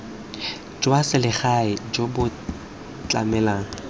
jwa selegae jo bo tlamelang